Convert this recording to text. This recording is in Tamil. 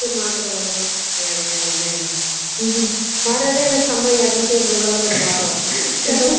படிப்பு என்ன பண்ற join பண்ணிருக்க பண்ணிருக்கியமா plus two அ இல்ல plus one அ plus two tenth க்கு அப்பறோ plus one பண்ண வேண்டாமா plus two வே